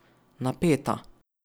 Napeta.